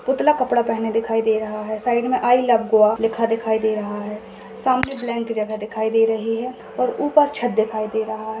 पुतला कपड़ा पहने दिखाई दे रहा है साइड में आई लव गोवा लिखा दिखाई रहा है सामने ब्लँक जगह दिखाई रही है और ऊपर छत दिखाई दे रहा है।